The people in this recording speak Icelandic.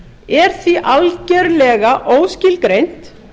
er því algerlega óskilgreint